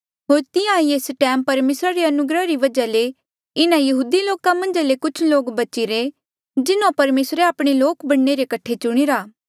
होर तिहां ईं एस टैम परमेसरा रे अनुग्रहा री वजहा ले इन्हा यहूदी लोका मन्झा ले कुछ लोक बचीरे जिन्हों परमेसरे आपणे लोक बणने रे कठे चुणीरा